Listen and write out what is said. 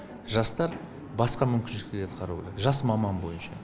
жастар басқа мүмкіншіліктерді қарау керек жас маман бойынша